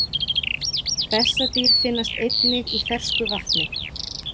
Bessadýr finnast einnig í fersku vatni.